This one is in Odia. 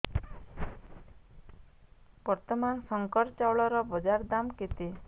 ବର୍ତ୍ତମାନ ଶଙ୍କର ଚାଉଳର ବଜାର ଦାମ୍ କେତେ